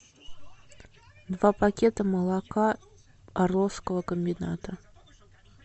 два пакета молока орловского комбината